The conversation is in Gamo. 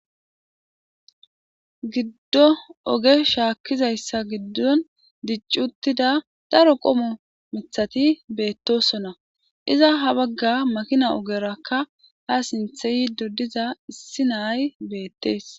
giddo oge shaakkizayssa giddon diccuttida daro qomo mithati beettosona iza ha bagga makina ogerakka ha sinthe yidodiza issi nay beettees